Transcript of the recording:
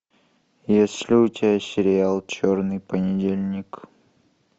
есть ли у тебя сериал черный понедельник